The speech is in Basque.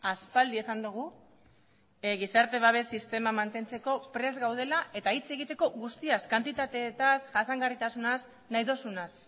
aspaldi esan dugu gizarte babes sistema mantentzeko prest gaudela eta hitz egiteko guztiaz kantitateetaz jasangarritasunaz nahi duzunaz